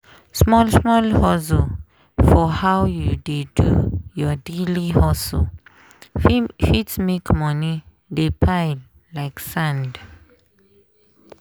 small-small change for how you dey do your daily hustle fit make money dey pile like sand.